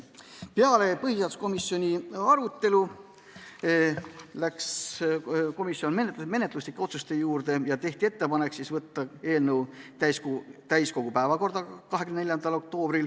Peale põhiseaduskomisjoni arutelu läks komisjon menetluslike otsuste juurde ja tehti ettepanek võtta eelnõu 24. oktoobril täiskogu päevakorda.